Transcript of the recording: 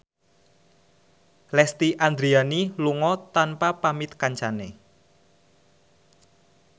Lesti Andryani lunga tanpa pamit kancane